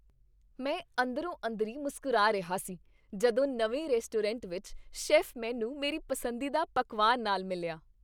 ਮੈਂ ਅੰਦਰੋ ਅੰਦਰੀ ਮੁਸਕਰਾ ਰਿਹਾ ਸੀ ਜਦੋਂ ਨਵੇਂ ਰੈਸਟੋਰੈਂਟ ਵਿੱਚ ਸ਼ੈੱਫ ਮੈਨੂੰ ਮੇਰੀ ਪਸੰਦੀਦਾ ਪਕਵਾਨ ਨਾਲ ਮਿਲਿਆ